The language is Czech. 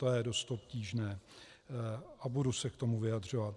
To je dost obtížné a budu se k tomu vyjadřovat.